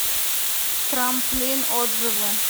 трамплин отзывы